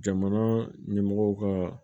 Jamana ɲɛmɔgɔ ka